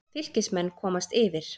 Fylkismenn komast yfir.